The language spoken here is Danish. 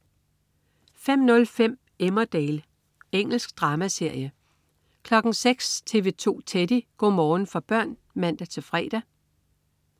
05.05 Emmerdale. Engelsk dramaserie 06.00 TV 2 Teddy. Go' morgen for børn (man-fre)